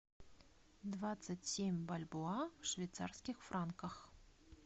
двадцать семь бальбоа в швейцарских франках